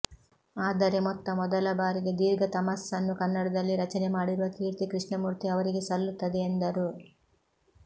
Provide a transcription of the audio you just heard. ಆದರೆ ಮೊತ್ತ ಮೊದಲಬಾರಿಗೆ ದೀರ್ಘತಮಸ್ಸನ್ನು ಕನ್ನಡದಲ್ಲಿ ರಚನೆ ಮಾಡಿರುವ ಕೀರ್ತಿ ಕೃಷ್ಣಮೂರ್ತಿ ಅವರಿಗೆ ಸಲ್ಲುತ್ತದೆ ಎಂದರು